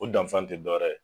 O dan fan tɛ dɔwɛrɛ ye.